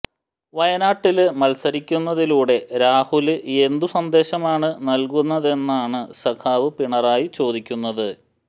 വയനാട്ടില് മത്സരിക്കുന്നതിലൂടെ രാഹുല് എന്തു സന്ദേശമാണ് നല്കുന്നതെന്നാണ് സഖാവ് പിണറായി ചോദിക്കുന്നത്